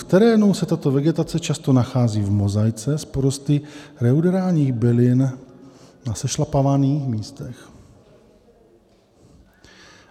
"V terénu se tato vegetace často nachází v mozaice s porosty reuderálních bylin na sešlapávaných místech.